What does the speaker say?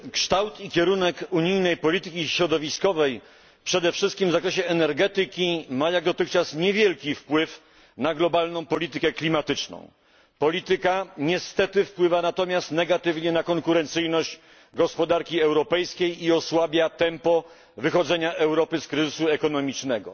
Kształt i kierunek unijnej polityki środowiskowej przede wszystkim w zakresie energetyki ma jak dotychczas niewielki wpływ na globalną politykę klimatyczną. Niestety polityka wpływa negatywnie na konkurencyjność gospodarki europejskiej i osłabia tempo wychodzenia Europy z kryzysu gospodarczego.